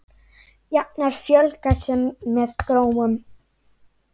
Jafnar fjölga sér með gróum.